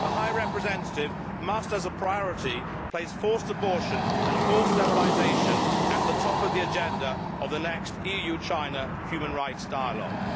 The High Representative must, as a priority, place forced abortion and forced sterilisation at the top of the agenda of the next EU China human rights dialogue.